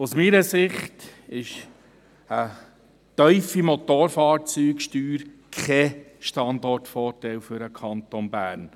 Aus meiner Sicht ist eine tiefe Motorfahrzeugsteuer kein Standortvorteil für den Kanton Bern.